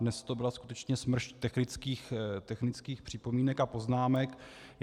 Dnes to byla skutečně smršť technických připomínek a poznámek.